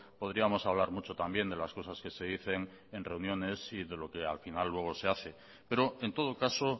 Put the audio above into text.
podríamos hablar mucho también de las cosas que se dicen en reuniones y de lo que al final luego se hace pero en todo caso